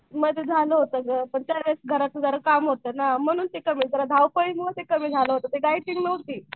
मध्ये झालं होतं गं पण त्यावेळेस घराचं जरा काम होतं ना म्हणून ते कमी जरा धावपळीमुळे कमी झालं होतं डाएट केली नव्हती.